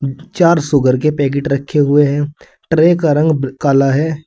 चार शुगर के पैकीट रखे हुए है ट्रे का रंग काला है।